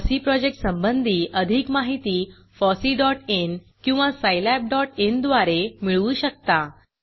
FOSSEE project संबंधी अधिक माहिती fosseeइन किंवा सायलॅबin द्वारे मिळवू शकता